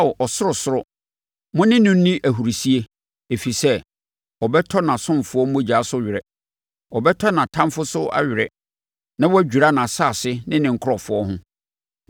Ao ɔsorosoro, mo ne no nni ahurisie, ɛfiri sɛ, ɔbɛtɔ nʼasomfoɔ mogya so were. Ɔbɛtɔ nʼatamfoɔ so awere na wadwira nʼasase ne ne nkurɔfoɔ ho.